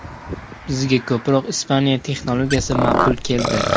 Bizga ko‘proq Ispaniya texnologiyasi ma’qul keldi.